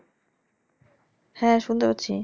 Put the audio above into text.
হ্যাঁ শুনতে পাচ্ছি।